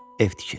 Ev tikir.